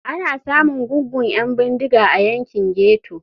Ana samun gungun 'yan bindiga a yankin ghetto.